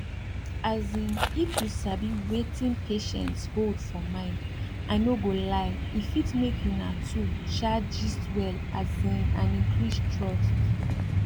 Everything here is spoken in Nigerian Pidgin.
asin if you sabi wetin patients hold for mind i no go lie e fit make una two um gist well asin and increase trust